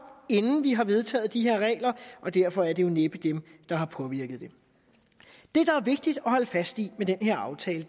inden vi har vedtaget de her regler og derfor er det jo næppe dem der har påvirket det det der er vigtigt at holde fast i med den her aftale